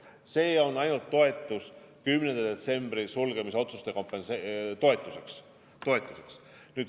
See on ainult toetus 10. detsembri sulgemisotsuste toetuseks.